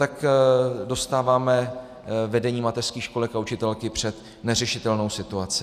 Tak dostáváme vedení mateřských školek a učitelky před neřešitelnou situaci.